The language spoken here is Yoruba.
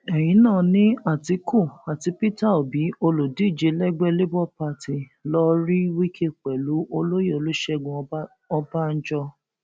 ẹyìn náà ni àtìkú àti peter obi olùdíje lẹgbẹ labour party lọọ rí wike pẹlú olóyè olùṣègùn ọbá ọbànjọ